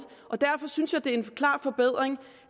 og derfor synes jeg at det er en klar forbedring